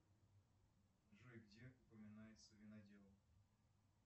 джой где упоминается винодел